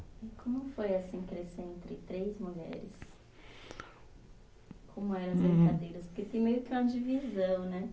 E como foi assim crescer entre três mulheres? Como era as brincadeiras? Porque tem meio que uma divisão, né?